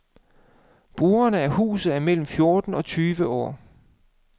Brugerne af huset er mellem fjorten og tyve år.